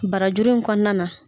Barajuru in kɔnɔna na.